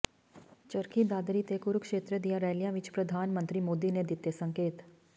ਚਰਖੀ ਦਾਦਰੀ ਤੇ ਕੁਰੂਕਸ਼ੇਤਰ ਦੀਆਂ ਰੈਲੀਆਂ ਵਿਚ ਪ੍ਰਧਾਨ ਮੰਤਰੀ ਮੋਦੀ ਨੇ ਦਿੱਤੇ ਸੰਕੇਤ